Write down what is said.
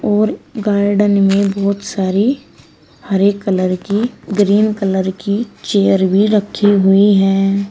और गार्डन में बहोत सारी हरे कलर की ग्रीन कलर की चेयर भी रखी हुई है।